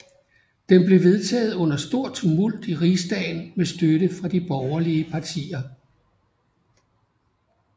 Den blev vedtaget under stor tumult i rigsdagen med støtte fra de borgerlige partier